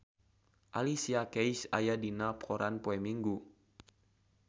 Alicia Keys aya dina koran poe Minggon